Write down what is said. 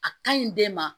A ka ɲi den ma